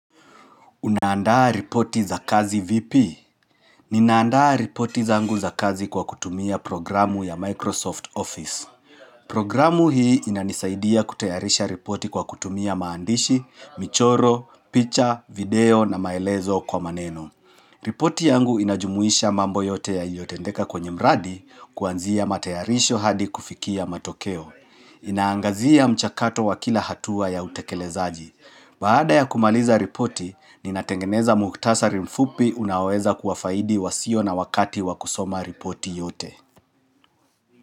Unaandaa ripoti za kazi VP? Ninaandaa ripoti zangu za kazi kwa kutumia programu ya Microsoft Office. Programu hii inanisaidia kutayarisha ripoti kwa kutumia maandishi, michoro, picha, video na maelezo kwa maneno. Ripoti yangu inajumuisha mambo yote yaliotendeka kwenye mradi kuanzia matayarisho hadi kufikia matokeo. Inaangazia mchakato wa kila hatua ya utekelezaji. Baada ya kumaliza ripoti, ninatengeneza mukhtasari mfupi unaweza kuwafaidi wasio na wakati wakusoma ripoti yote.